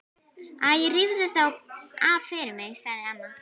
Æ rífðu þá af fyrir mig sagði amma.